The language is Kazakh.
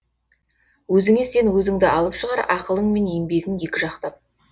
өзіңе сен өзіңді алып шығар ақылың мен еңбегің екі жақтап